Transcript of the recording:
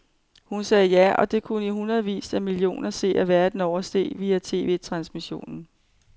Hun sagde ja, og det kunne i hundredvis af millioner seere verden over se via TVtransmissionen.